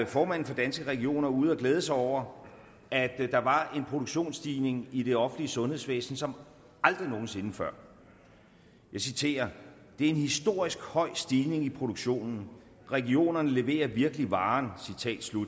formanden for danske regioner ude at glæde sig over at der var en produktionsstigning i det offentlige sundhedsvæsen som aldrig nogen sinde før jeg citerer det er en historisk høj stigning i produktionen regionerne leverer virkelig varen